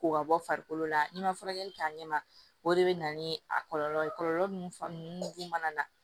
Ko ka bɔ farikolo la n'i ma furakɛli kɛ a ɲɛ ma o de bɛ na ni a kɔlɔlɔ ye kɔlɔlɔ ninnu fan ninnu mana na